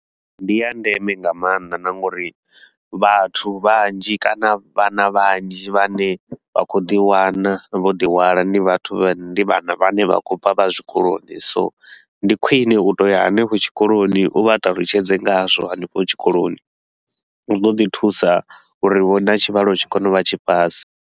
Ndi ya ndeme nga maanḓa na nga uri vhathu vhanzhi kana vhana vhanzhi vhane vha khou ḓi wana vho ḓi hwala, ndi vhathu vha ndi vhana vhane vha khou bva vha zwikoloni. So ndi khwine u tou ya hanefho tshikoloni, u vha ṱalutshedze ngazwo hanefho tshikoloni, zwi ḓo ḓi thusa uri vho na tshivhalo tshi kone u vha tshi fhasi.